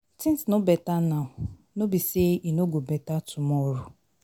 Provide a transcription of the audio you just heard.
One thing I like about Bunmi be say she must finish wetin she don start.